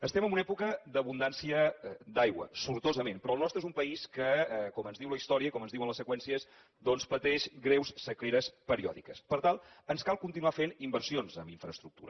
estem en una època d’abundància d’aigua sortosament però el nostre és un país que com ens diu la història i com ens diuen les seqüències doncs pateix greus sequeres periòdiques per tant ens cal continuar fent inversions en infraestructura